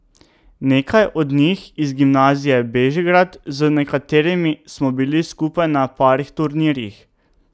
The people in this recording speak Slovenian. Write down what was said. Nekaj od njih z Gimnazije Bežigrad, z nekaterimi smo bili skupaj na parih turnirjih.